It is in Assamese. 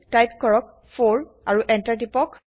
টাইপ কৰক 4 আৰু এন্টাৰ কৰক